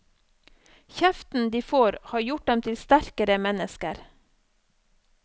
Kjeften de får har gjort dem til sterkere mennesker.